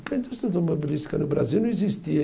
Porque a indústria automobilística no Brasil não existia.